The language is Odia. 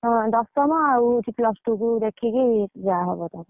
ହଁ, ଦଶମ ଆଉ ହଉଛି plus two କୁ ଦେଖିକି ଯା ହବ?